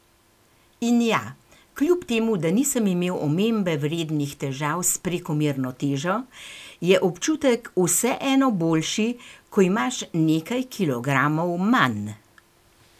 In ja, kljub temu da nisem imel omembe vrednih težav s prekomerno težo, je občutek vseeno boljši, ko imaš nekaj kilogramov manj!